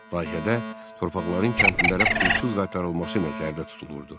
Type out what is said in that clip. Layihədə torpaqların kəndlilərə pulsuz qaytarılması nəzərdə tutulurdu.